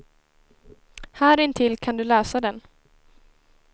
Här intill kan du läsa den.